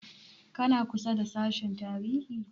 Kana kusa da sashen tarihi?